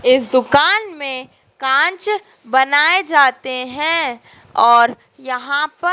इस दुकान में कांच बनाए जाते हैं और यहां पर।